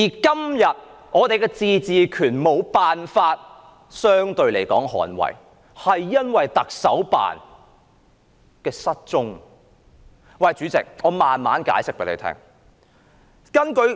今天，我們的自治權無法相對得到捍衞，是因為行政長官辦公室的失蹤。